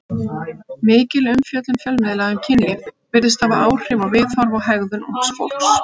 Mikil umfjöllun fjölmiðla um kynlíf virðist hafa áhrif á viðhorf og hegðun ungs fólks.